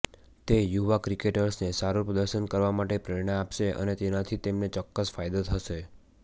તે યુવા ક્રિકેટર્સને સારું પ્રદર્શન કરવા માટે પ્રેરણા આપશે અને તેનાથી તેમને ચોક્કસ ફાયદો થશે